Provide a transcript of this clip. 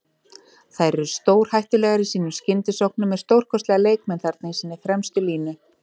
Þær eru stórhættulegar í sínum skyndisóknum með stórkostlega leikmenn þarna í sinni fremstu línu.